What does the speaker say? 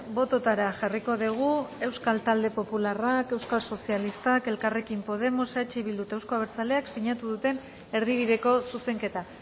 bototara jarriko dugu euskal talde popularrak euskal sozialistak elkarrekin podemos eh bildu eta euzko abertzaleak sinatu duten erdibideko zuzenketa